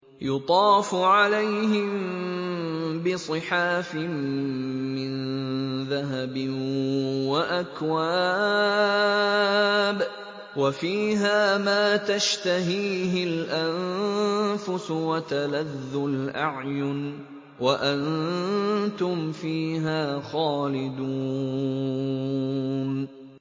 يُطَافُ عَلَيْهِم بِصِحَافٍ مِّن ذَهَبٍ وَأَكْوَابٍ ۖ وَفِيهَا مَا تَشْتَهِيهِ الْأَنفُسُ وَتَلَذُّ الْأَعْيُنُ ۖ وَأَنتُمْ فِيهَا خَالِدُونَ